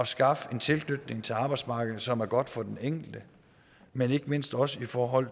skaffe en tilknytning til arbejdsmarkedet som er godt for den enkelte men ikke mindst også i forhold